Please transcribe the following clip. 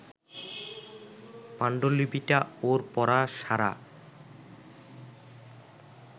পাণ্ডুলিপিটা ওর পড়া সারা